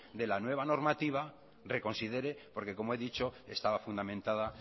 de la nueva normativa reconsidere porque como he dicho estaba fundamentada